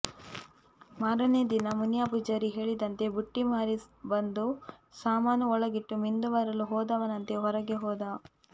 ಮಾರನೇ ದಿನ ಮುನಿಯ ಪೂಜಾರಿ ಹೇಳಿದಂತೆ ಬುಟ್ಟಿ ಮಾರಿ ಬಂದು ಸಾಮಾನು ಒಳಗಿಟ್ಟು ಮಿಂದು ಬರಲು ಹೋದವನಂತೆ ಹೊರಗೆ ಹೋದ